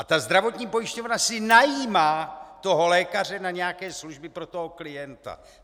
A ta zdravotní pojišťovna si najímá toho lékaře na nějaké služby pro toho klienta.